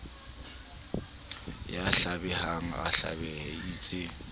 ya hlabehang a hlabehe eitse